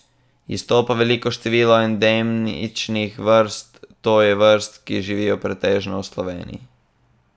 Izstopa veliko število endemičnih vrst, to je vrst, ki živijo pretežno v Sloveniji.